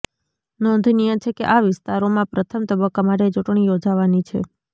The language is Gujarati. નોંધનીય છે કે આ વિસ્તારોમાં પ્રથમ તબક્કા માટે ચૂંટણી યોજાવાની છે